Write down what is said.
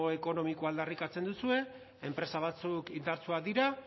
ekonomikoa aldarrikatzen duzue enpresa batzuk indartsuak dira